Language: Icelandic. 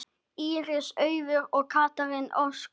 Íris Auður og Katrín Ósk.